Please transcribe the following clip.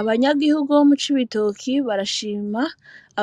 Abanyagihugu bo mu Cibitoki barashima